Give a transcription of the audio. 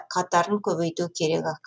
қатарын көбейту керек ақ